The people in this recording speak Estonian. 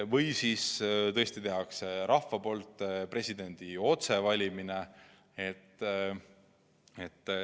Või siis tõesti valib presidendi rahvas otsevalimistel.